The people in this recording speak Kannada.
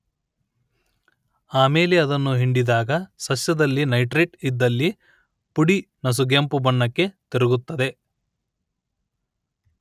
ಆಮೇಲೆ ಅದನ್ನು ಹಿಂಡಿದಾಗ ಸಸ್ಯದಲ್ಲಿ ನೈಟ್ರೇಟ್ ಇದ್ದಲ್ಲಿ ಪುಡಿ ನಸುಗೆಂಪು ಬಣ್ಣಕ್ಕೆ ತಿರುಗುತ್ತದೆ